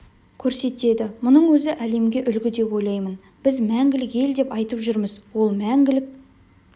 көрсетеді мұның өзі әлемге үлгі деп ойлаймын біз мәңгілік ел деп айтып жүрміз ол мәңгілік